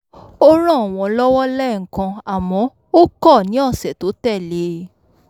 ó ràn wọ́n lọ́wọ́ lẹ́ẹ̀kan àmọ́ ó kọ̀ ní ọ̀sẹ̀ tó tẹ̀ lé e